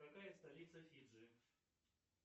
какая столица фиджи